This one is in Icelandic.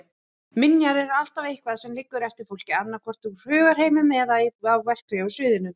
Minjar er alltaf eitthvað sem liggur eftir fólk, annaðhvort úr hugarheiminum eða á verklega sviðinu.